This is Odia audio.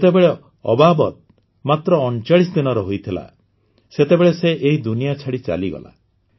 ଯେତେବେଳେ ଅବାବତ୍ ମାତ୍ର ୩୯ ଦିନର ହୋଇଥିଲା ସେତେବେଳେ ସେ ଏହି ଦୁନିଆ ଛାଡ଼ି ଚାଲିଗଲା